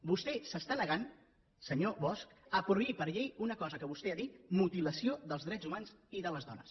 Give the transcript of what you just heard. vostè s’està negant senyor bosch a prohibir per llei una cosa que vostè n’ha dit mutilació dels drets humans i de les dones